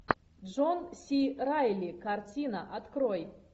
джон си райли картина открой